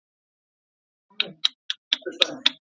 Lónin eru þessi